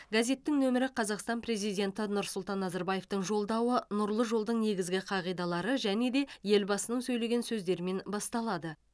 газеттің нөмірі қазақстан президенті нұрсұлтан назарбаевтың жолдауы нұрлы жолдың негізгі қағидалары және де елбасының сөйлеген сөздерімен басталады